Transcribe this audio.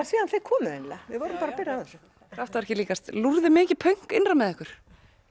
síðan þið komuð eiginlega við vorum bara að byrja á þessu kraftaverki líkast lúrði mikið pönk innra með ykkur